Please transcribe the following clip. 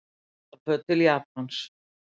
Ullarföt til Japans